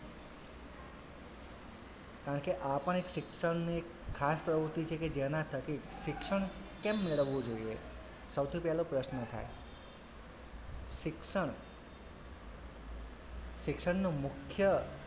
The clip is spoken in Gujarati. કારણ કે આ પણ એક શિક્ષણની એક ખાસ પ્રવુતિ છે કે જેનાં થકી શિક્ષણ કેમ મેળવવું જોઈએ સૌથી પહેલો પ્રશ્ન થાય શિક્ષણ શિક્ષણનો મુખ્ય,